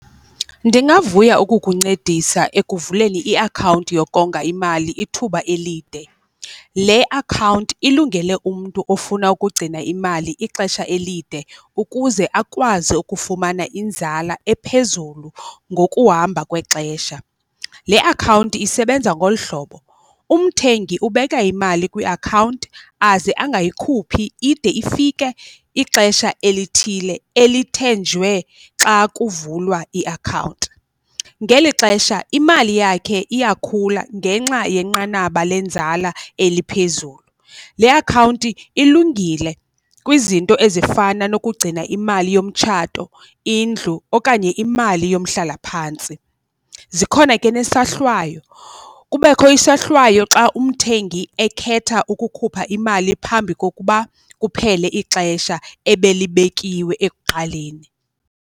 Ndingavuya ukukuncedisa ekuvuleni iakhawunti yokonga imali ithuba elide. Le akhawunti ilungele umntu ofuna ukugcina imali ixesha elide ukuze akwazi ukufumana inzala ephezulu ngokuhamba kwexesha. Le akhawunti isebenza ngolu hlobo, umthengi ubeka imali kwiakhawunti aze angayikhuphi ide ifike ixesha elithile elithenjwe xa kuvulwa iakhawunti. Ngeli xesha imali yakhe iyakhula ngenxa yenqanaba lenzala eliphezulu, le akhawunti ilungile kwizinto ezifana nokugcina imali yomtshato, indlu okanye imali yomhlalaphantsi. Zikhona ke nesohlwayo, kubekho isohlwayo xa umthengi ekhetha ukukhupha imali phambi kokuba kuphele ixesha ebelibekiwe ekuqaleni.